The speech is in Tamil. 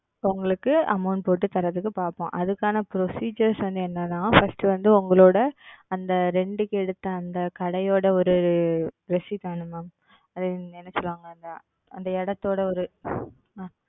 இப்போ உங்களுக்கு Amount போட்டு தரதற்கு பாப்போம். அதுக்கான Procedure வந்து என்னனா? First வந்து உங்களோட அந்த Rent க்கு எடுத்த அந்த கடையோட ஒரு Receipt வேணும் Ma'am. அது என்னன்னு சொல்லுவாங்க? அந்த இடத்தோட ஒரு